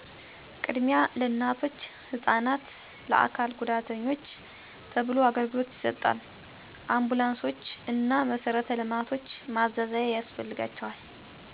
ቅድሚያ ለእናቶች፣ ህፃናት፣ ለአካል ጉዳተኞች ተብሎ አገልግሎት ይሰጣል። አንቡላንሶቾ እና መሰረተ ልማቶች ማዛዛያ ያስፈልጋቸዋል